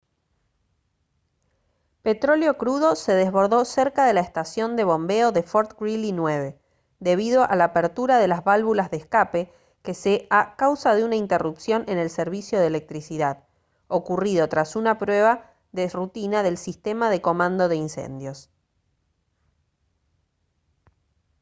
petróleo crudo se desbordó cerca de la estación de bombeo de fort greely 9 debido a la apertura de las válvulas de escape que se a causa de una interrupción en el servicio de electricidad ocurrido tras una prueba de rutina del sistema de comando de incendios